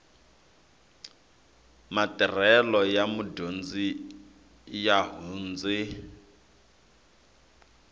matirhelo ya mudyondzi ya hundze